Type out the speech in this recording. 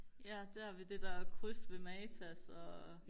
ja der ved det der kryds ved matas og